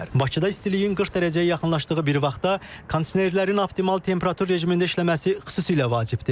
Bakıda istiliyin 40 dərəcəyə yaxınlaşdığı bir vaxtda kondisionerlərin optimal temperatur rejimində işləməsi xüsusilə vacibdir.